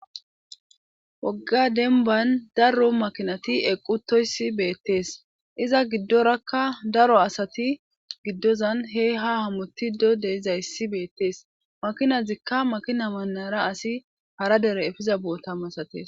wogga dembban daro makinati eqquttoyssi beettes;iza giddorakka daro asati gidozan hee haa hamottido de7izayssi beettes;makinazikka makina mannara asi hara dere efiza boota masates.